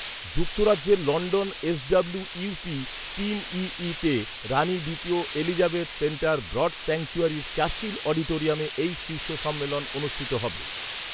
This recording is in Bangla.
যুক্তরাজ্যের লণ্ডন এসডব্লিউ ইউপি তিন ইইতে রাণী দ্বিতীয় এলিজাবেথ সেন্টার ব্রড স্যাংচুয়ারির চার্চিল অডিটোরিয়ামে এই শীর্ষ সম্মেলন অনুষ্ঠিত হবে